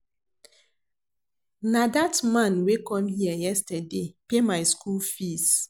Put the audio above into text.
Na dat man wey come here yesterday pay my school fees